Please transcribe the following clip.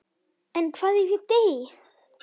En hvað ef ég dey?